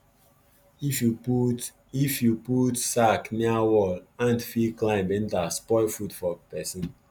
if you put if you put sack near wall ant fit climb enter spoil food for person